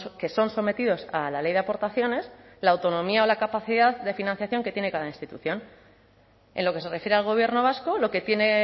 que son sometidos a la ley de aportaciones la autonomía o la capacidad de financiación que tiene cada institución en lo que se refiere al gobierno vasco lo que tiene